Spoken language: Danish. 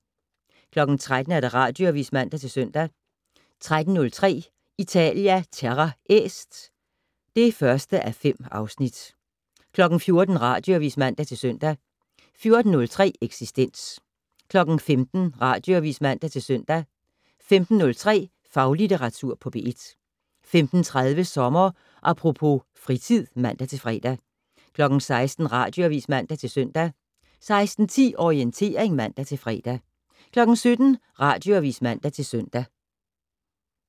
13:00: Radioavis (man-søn) 13:03: Italia Terra Est (1:5) 14:00: Radioavis (man-søn) 14:03: Eksistens 15:00: Radioavis (man-søn) 15:03: Faglitteratur på P1 15:30: Sommer Apropos - fritid (man-fre) 16:00: Radioavis (man-søn) 16:10: Orientering (man-fre) 17:00: Radioavis (man-søn)